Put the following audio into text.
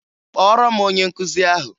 Kpọọrọ m onye nkụzi ahụ!